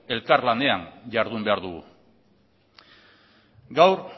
elkarlanean jardun behar dugu gaur